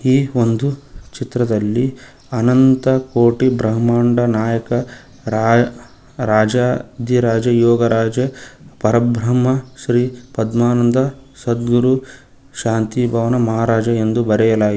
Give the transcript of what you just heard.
ಈ ಒಂದು ಚಿತ್ರದಲ್ಲಿ ಅನಂತ ಕೋಟಿ ಬ್ರಹ್ಮಾಂಡ ನಾಯಕ ರಾ ರಾಜ ಜಿ ಯೋಗ ರಾಜ ಪರಬ್ರಹ್ಮ ಶ್ರೀ ಪದ್ಮಾನಂದ ಸದ್ಗುರು ಶಾಂತಿ ಭವನ ಮಹಾರಾಜ ಎಂದು ಬರೆಯಲ--